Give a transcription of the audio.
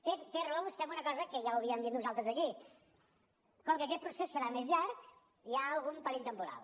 té raó vostè en una cosa que ja ho havíem dit nosaltres aquí com que aquest procés serà més llarg hi ha algun perill temporal